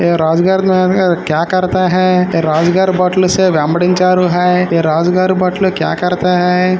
ये राजगड क्या करता है राजगड राजगड क्या करता है।